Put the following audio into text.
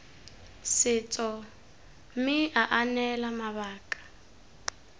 setso mme aa neela mabaka